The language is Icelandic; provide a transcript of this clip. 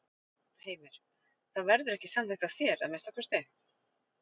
Heimir: Það verður ekki samþykkt af þér, að minnsta kosti?